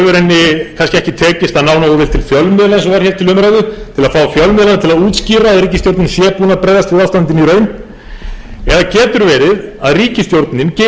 við ástandinu í raun eða getur verið að ríkisstjórnin geri sér ekki grein fyrir því sem allir aðrir nánast allri aðrir í